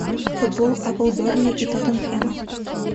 футбол апл бернли и тоттенхэма